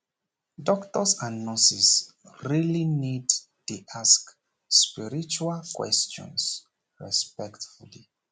doctors and nurses really need dey ask spiritual questions respectfully